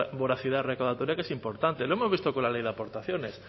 voracidad recaudatoria que es importante lo hemos visto con la ley de aportaciones